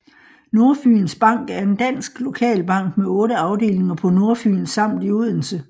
Nordfyns Bank er en dansk lokalbank med 8 afdelinger på Nordfyn samt i Odense